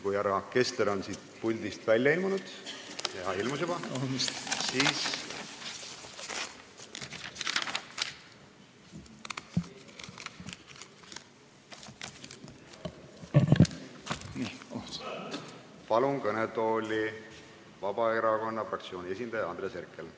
Kui härra Kessler on siit puldi tagant välja ilmunud – ja ilmus juba –, siis kutsun kõnetooli Vabaerakonna fraktsiooni esindaja Andres Herkeli.